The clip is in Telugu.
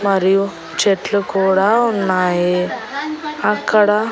మరియు చెట్లు కూడా ఉన్నాయి అక్కడ.